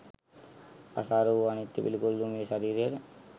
අසාර වූ අනිත්‍ය වූ පිළිකුල් වූ මේ ශරීරයට